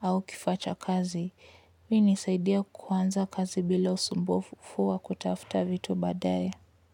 au kifaa cha kazi. Hii unisaidia kuanza kazi bila usumbufu wa kutafuta vitu baadae.